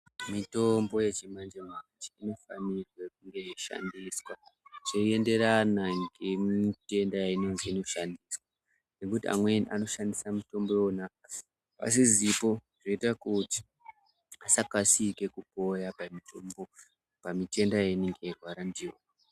Mitombo yechimanje manje inofanirwe kunge yeishandiswa zveienderana ngemutenda yainozwi inoshandiswa ngekuti amweni anoshandisa mitombo iwona pasizipo zvinoita kuti asakasike kupoya pamitombo pamitenda yeinenge eirwara ndiyo.